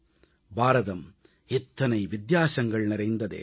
பாரதம் இத்தனை வித்தியாசங்கள் நிறைந்த தேசம்